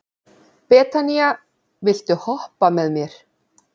Betanía, viltu hoppa með mér?